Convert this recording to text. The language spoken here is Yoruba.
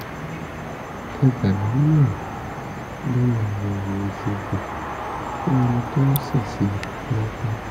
ẹ gbà mí ní ìmọ̀ràn lórí àyẹ̀wò ìṣègùn fún ẹni tó ṣèṣe lápá